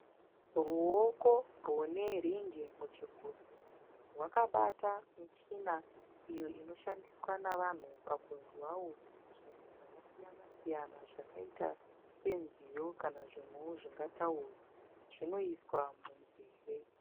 Ruoko rwemunhu rune ringi muchigunwe. Rwakabata michina iyo inoshandiwa nevanhu kunzwawo zvinhu zvakasiyana siyana zvakaita senziyo kana zvimwewo zvingataure. Zvinoiswa munzeve.